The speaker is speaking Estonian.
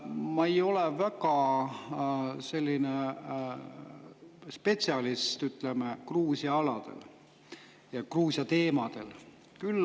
Ma ei ole väga selline spetsialist, ütleme, Gruusia alal, Gruusia teemadel.